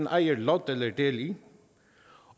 ejer lod eller del i